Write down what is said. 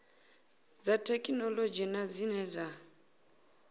dza thekhinolodzhi na zwine dza